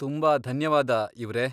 ತುಂಬಾ ಧನ್ಯವಾದ ಇವ್ರೇ.